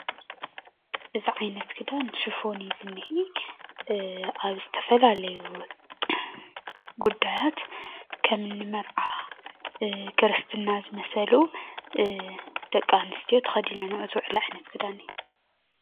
እዚ ዓይነት ክዳን ሽፎን እዩ ዝኒሄ አብ ዝተፈላለዩ ጉዳያት ከምኒ መርዓ ክርስትና ዝመሰሉ ደቂ አንስትዮ ተከዲኖኖኦ ዝውዕላ ዓየነት ክዳን እዩ፡፡